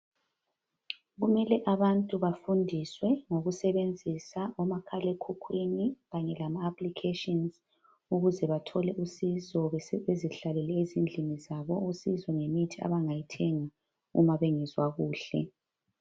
Kumele abantu bafundiswe ngokusebenzisa omakhalekhukhwini kanye lama aplikhetshinzi ukuze bathole usizo bezihlalele ezindlini zabo, usizo ngemithi abangayithenga uma bengezwa kuhle.